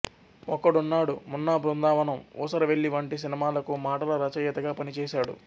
ఒక్కడున్నాడు మున్నా బృందావనం ఊసరవెల్లి వంటి సినిమాలకు మాటల రచయితగా పనిచేశాడు